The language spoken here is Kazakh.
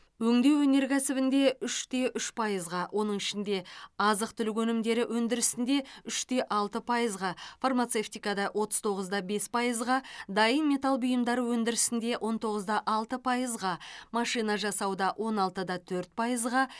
өңдеу өнеркәсібінде үш те үш пайызға оның ішінде азық түлік өнімдері өндірісінде үш те алты пайызға фармацевтикада отыз тоғыз да бес пайызға дайын металл бұйымдары өндірісінде он тоғыз да алты пайызға машина жасауда он алты да төрт пайызға